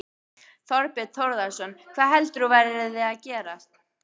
Þorbjörn Þórðarson: Hvað heldur þú að verði að gerast?